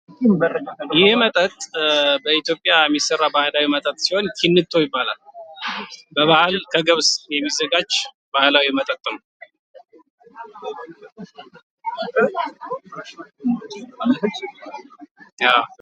ይህ መጠጥ በኢትዮጵያ የሚሰራ ባህላዊ መጠጥ ሲሆን ሲንጦ ይባላል። በባህላዊ መንገድ ከገብስ የሚዘጋጅ ባህላዊ መጠጥ ነው።